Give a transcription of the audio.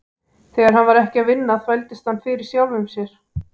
Þegar hann var ekki að vinna þvældist hann fyrir sjálfum sér.